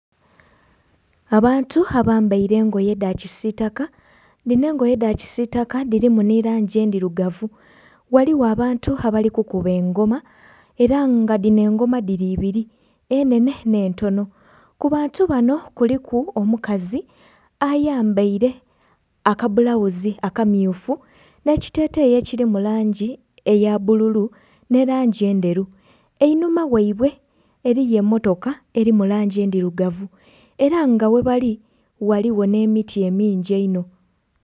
Abantu abambaire engoye edha kisitaka dhino engoye edha kisitaka dhirimu ni langi endhirugavu, ghaligho abantu abali kukuba engoma era nga dhino engoma dhiri ibiri enenhe ne entonho ku bantu banho kuliku omukazi ayambaire akabulawuzi aka mmyufu nhe ekiteteyi ekiri mu langi eya bbululu nhe langi endheru, einhuma ghaibwe eriyo emotoka eri mu langi endhirugavu eraa nga ghe bali ghaligho emiti emingi einho.